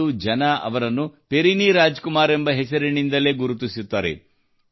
ಇಂದು ಜನರು ಅವರನ್ನು ಪೆರಿನಿ ರಾಜ್ ಕುಮಾರ್ ಎಂಬ ಹೆಸರಿನಿಂದಲೇ ಗುರುತಿಸುತ್ತಾರೆ